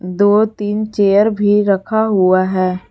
दो तीन चेयर भी रखा हुआ है।